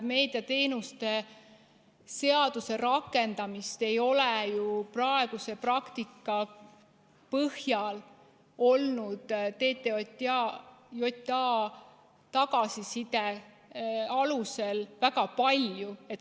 Meediateenuste seaduse rikkumist ei ole ju praeguse praktika põhjal olnud TTJA tagasiside alusel väga palju.